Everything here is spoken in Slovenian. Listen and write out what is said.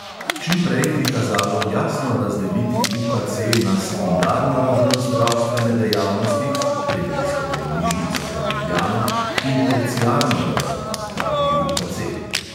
Čim prej bi kazalo jasno razdeliti UKC na sekundarno raven zdravstvene dejavnosti (regijsko bolnišnico za ljubljano) in terciarno raven (pravi UKC).